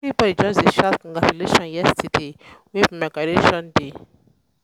everybodi just dey shout um congratulations yesterday wey be my graduation day.